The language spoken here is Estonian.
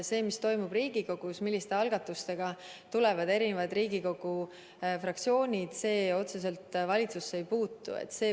See, mis toimub Riigikogus, milliste algatustega tulevad Riigikogu fraktsioonid välja, otseselt valitsusse ei puutu.